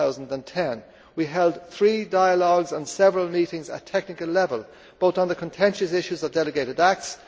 2010. We held three dialogues and several meetings at technical level, both on the contentious issues of delegated acts.